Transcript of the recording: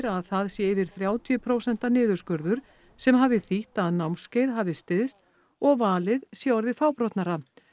að það sé yfir þrjátíu prósent niðurskurður sem hafi þýtt að námskeið hafi styst og valið sé orðið fábrotnara